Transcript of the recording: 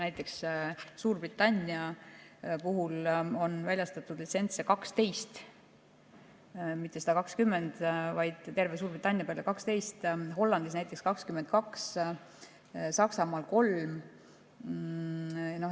Näiteks, Suurbritannias on väljastatud litsentse 12, mitte 120, vaid terve Suurbritannia peale 12, Hollandis 22, Saksamaal 3.